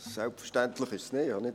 Selbstverständlich ist es nicht.